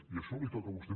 i això li toca a vostè